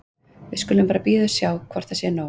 Við skulum bara bíða og sjá hvort það sé nóg.